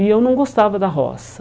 E eu não gostava da roça.